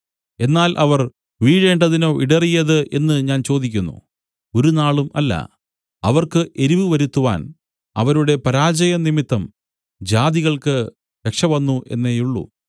എന്നാൽ അവർ വീഴേണ്ടതിനോ ഇടറിയത് എന്നു ഞാൻ ചോദിക്കുന്നു ഒരുനാളും അല്ല അവർക്ക് എരിവു വരുത്തുവാൻ അവരുടെ പരാജയം നിമിത്തം ജാതികൾക്ക് രക്ഷ വന്നു എന്നേയുള്ളു